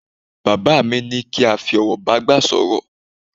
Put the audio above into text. Bàbá mi ní kí a fi ọ̀wọ̀ bágbà sọ̀rọ̀